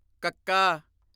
ਕੱਕਾ